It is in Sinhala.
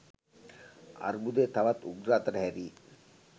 අර්බුධය තවත් උග්‍ර අතට හැරී